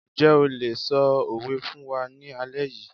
Njẹ́ o lè ṣọ òwe fún wa ní alẹ́ yìí